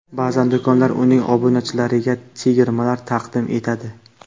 Ba’zan do‘konlar uning obunachilariga chegirmalar taqdim etadi.